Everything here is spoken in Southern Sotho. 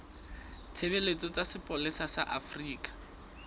ditshebeletso tsa sepolesa sa afrika